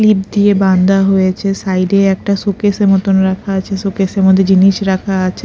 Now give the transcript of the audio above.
Clip দিয়ে বান্ধা হয়েছে সাইড -এ একটা শোকেস - মতন রাখা আছে শোকেস -এর মধ্যে জিনিস রাখা আছে।